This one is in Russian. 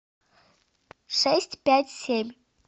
шесть пять семь